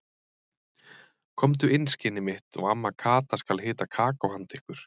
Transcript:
Komdu inn skinnið mitt og amma Kata skal hita kakó handa ykkur.